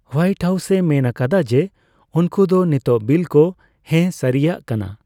White House ᱢᱮᱱ ᱟᱠᱟᱫᱟ ᱡᱮ ᱩᱱᱠᱚ ᱫᱚ ᱱᱤᱛᱟᱝ ᱵᱤᱞ ᱠᱚ ᱦᱮᱸ ᱥᱟᱹᱨᱤᱟᱜ ᱠᱟᱱᱟ ᱾